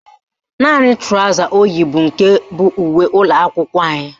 Naanị trọsa o yi bụ nke bụ uwe ụlọakwụkwọ anyị